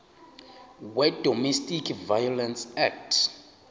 wedomestic violence act